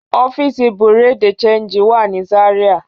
Ọfiíṣí Bureau de Chanjí wà ní Záríà.